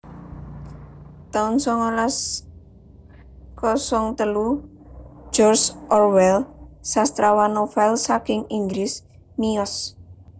taun songolas kosong telu George Orwell sastrawan novel saking Inggris miyos